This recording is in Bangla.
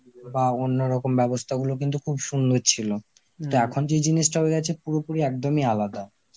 বা অন্যরকম ব্যবস্থা গুলো কিন্তু খুব সুন্দর ছিল. তা এখন যে জিনিসটা হয়ে গেছে পুরোপুরি একদমই আলাদা.